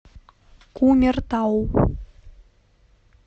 кумертау